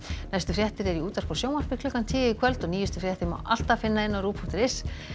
næstu fréttir eru í útvarpi og sjónvarpi klukkan tíu í kvöld og nýjustu fréttir má alltaf finna á rúv punktur is